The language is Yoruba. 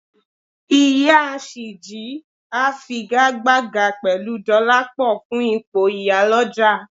Ìyá Ṣìjí á figagbága pẹ̀lú Dọlápọ̀ fún ipò ìyálọ̀jà